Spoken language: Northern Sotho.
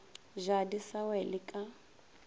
ja di sa wele ka